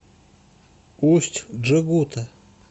усть джегута